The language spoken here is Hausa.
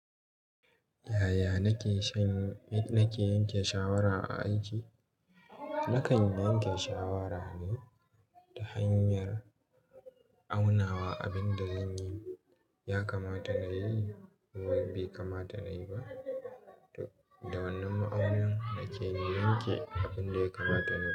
Yaya nake shan, nake yanke shawara a aiki? Nakan yanke shawara ne ta hanyar aunawa abin da zan yi ya kamata nayi ko bai kamata nayi ba. Da wannan ma'aunin nake yanke abin da ya kamata nayi.